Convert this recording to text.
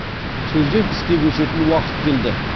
сөзден іске көшетін уақыт келді